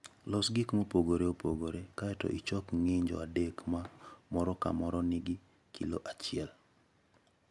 Los gik mopogore opogore, kae to ichok ng'injo adek ma moro ka moro nigi kilo achiel.